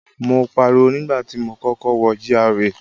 Mo pariwo nígbà tí mo kọ́kọ́ wọ GRA.